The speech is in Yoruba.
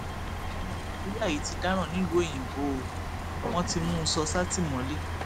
ọmọ nàìjíríà yìí ti dáràn nílùú òyìnbó o wọn ti mú un sọ sátìmọlé